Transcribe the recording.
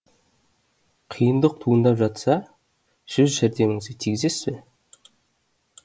қиындық туындап жатса сөз жәрдеміңізді тигізесіз бе